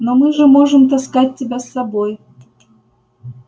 но мы же можем таскать тебя с собой